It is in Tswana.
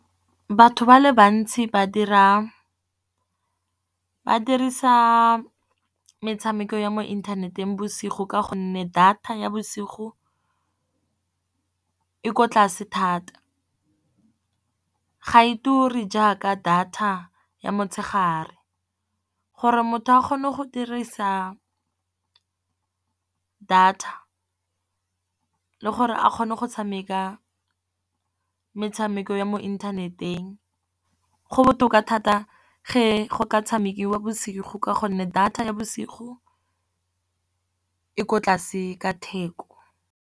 Batho ba le bantsi ba dirisa metshameko ya mo inthaneteng bosigo ka gonne data ya bosigo e ko tlase thata. Ga e ture jaaka data ya motshegare, gore motho a kgone go dirisa data le gore a kgone go tshameka metshameko ya mo inthaneteng. Go botoka thata ge go ka tshamekiwa bosigo ka gonne data ya bosigo e ko tlase ka theko.